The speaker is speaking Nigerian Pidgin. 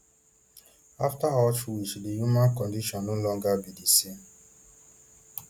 after auschwitz di human condition no longer be di same